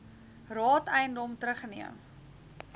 raad eiendom terugneem